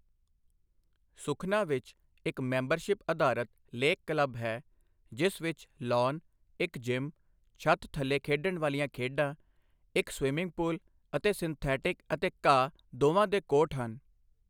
ਸੁਖਨਾ ਵਿੱਚ ਇੱਕ ਮੈਂਬਰਸ਼ਿਪ ਅਧਾਰਤ ਲੇਕ ਕਲੱਬ ਹੈ ਜਿਸ ਵਿੱਚ ਲਾਅਨ, ਇੱਕ ਜਿੰਮ ਛੱਤ ਥੱਲੇ ਖੇਡਣ ਵਾਲੀਆ ਖੇਡਾਂ, ਇੱਕ ਸਵਿਮਿੰਗ ਪੂਲ ਅਤੇ ਸਿੰਥੈਟਿਕ ਅਤੇ ਘਾਹ ਦੋਵਾਂ ਦੇ ਕੋਰਟ ਹਨ।